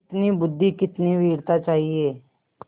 कितनी बुद्वि कितनी वीरता चाहिए